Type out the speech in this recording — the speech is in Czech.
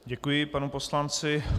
Děkuji panu poslanci.